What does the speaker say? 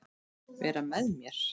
Vera með mér?